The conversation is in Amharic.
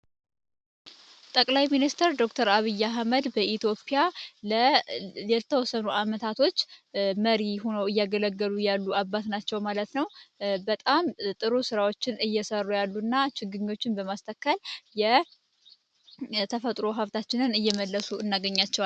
ጠቅላይ ሚኒስተር ዶ/ር አቢያ ህመድ በኢትዮፒያ ለ ሌልተወሰኑ ዓመታቶች መሪ ሆነው እያገለገሉ ያሉ አባት ናቸው ማለት ነው በጣም ጥሩ ሥራዎችን እየሰሩ ያሉ እና ችግኞችን በማስተካል የተፈጥሮ ሀፍታችንን እየመለሱ እናገኛቸዏለን፡፡